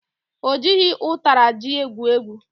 Ọ jighị ụtara ji egwu egwu